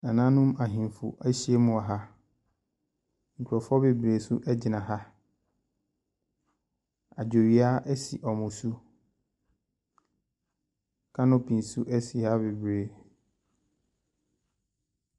Nananom ahemfo ahyiam wɔ ha. Nkurɔfo bebree nso gyina ha. Agyewia si wɔn so. Kanopi nso si ha bebree.